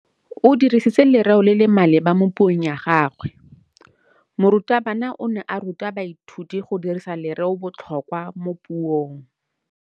O dirisitse lerêo le le maleba mo puông ya gagwe. Morutabana o ne a ruta baithuti go dirisa lêrêôbotlhôkwa mo puong.